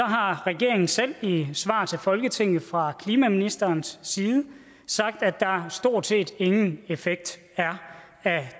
har regeringen selv i et svar til folketinget fra klimaministerens side sagt at der stort set ingen effekt er af